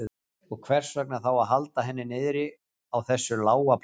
Og hvers vegna þá að halda henni niðri á þessu lága plani?